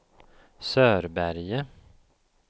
Sörberge